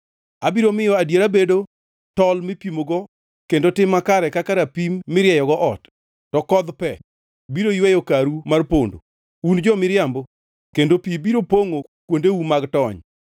Abiro miyo adiera bedo tol mipimogo kendo tim makare kaka rapim mirieyogo ot; to kodh pe biro yweyo karu mar pondo, un jo-miriambo kendo pi biro pongʼo kuondeu mag tony.